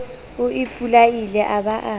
o ipolaile a ba a